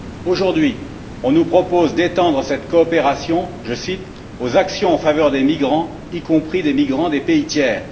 Aujourd'hui, on nous propose d'étendre cette coopération je cite aux actions en faveur des migrants, y compris des migrants des pays tiers.